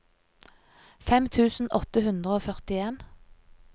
fem tusen åtte hundre og førtien